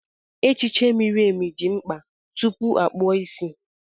Echiche miri emi dị mkpa tupu a kpụọ isi.